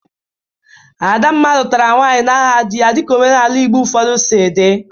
Adamma lụtara nwaanyị n'aha dị ya dịka omenaala Igbo ụfọdụ si dị.